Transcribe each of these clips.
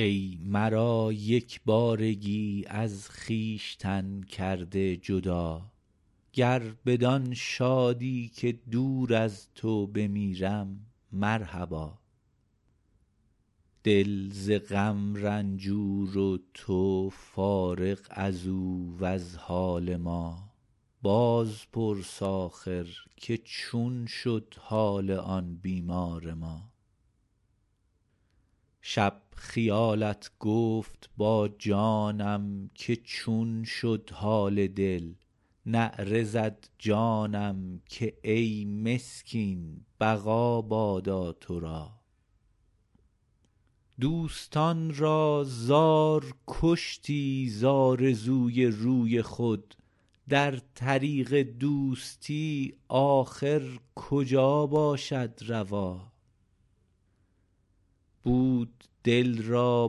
ای مرا یک بارگی از خویشتن کرده جدا گر بدآن شادی که دور از تو بمیرم مرحبا دل ز غم رنجور و تو فارغ ازو وز حال ما بازپرس آخر که چون شد حال آن بیمار ما شب خیالت گفت با جانم که چون شد حال دل نعره زد جانم که ای مسکین بقا بادا تو را دوستان را زار کشتی ز آرزوی روی خود در طریق دوستی آخر کجا باشد روا بود دل را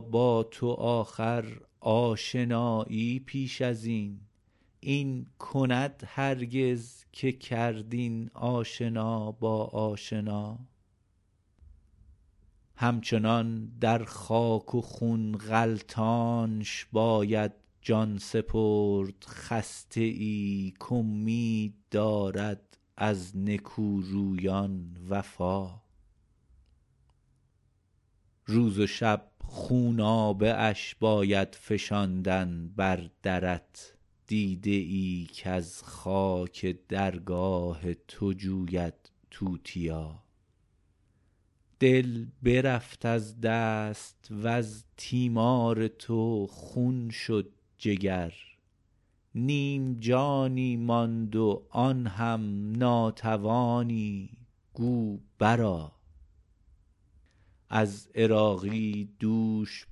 با تو آخر آشنایی پیش ازین این کند هرگز که کرد این آشنا با آشنا هم چنان در خاک و خون غلتانش باید جان سپرد خسته ای کامید دارد از نکورویان وفا روز و شب خونابه اش باید فشاندن بر درت دیده ای کز خاک درگاه تو جوید توتیا دل برفت از دست وز تیمار تو خون شد جگر نیم جانی ماند و آن هم ناتوانی گو بر آ از عراقی دوش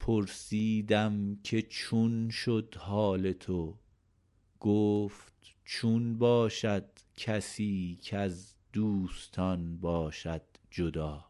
پرسیدم که چون است حال تو گفت چون باشد کسی کز دوستان باشد جدا